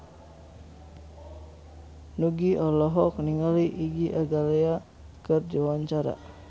Nugie olohok ningali Iggy Azalea keur diwawancara